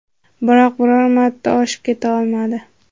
Biroq biror marta oshib keta olmadi.